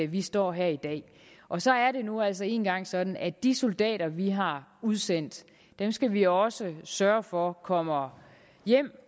vi står her i dag og så er det nu altså engang sådan at de soldater vi har udsendt skal vi også sørge for kommer hjem